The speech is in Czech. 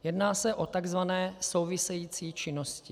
Jedná se o tzv. související činnosti.